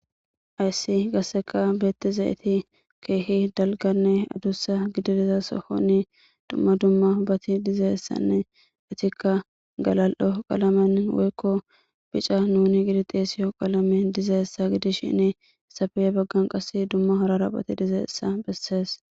Hayssi gasseka beetti zayeti keehi dalganne adussa gidi diza sohonni dumma dumma baati dizaessanne itikka galal7o qalamen woykko bica nuni gidi xeesiyo qalame diza essa gidish shinni safe7e baggan qas dumma horara phati diza essa bessees